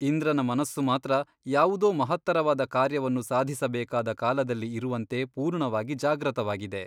ಇಂದ್ರನ ಮನಸ್ಸು ಮಾತ್ರ ಯಾವುದೋ ಮಹತ್ತರವಾದ ಕಾರ್ಯವನ್ನು ಸಾಧಿಸಬೇಕಾದ ಕಾಲದಲ್ಲಿ ಇರುವಂತೆ ಪೂರ್ಣವಾಗಿ ಜಾಗ್ರತವಾಗಿದೆ.